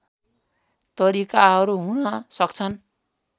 तरिकाहरू हुन सक्छन्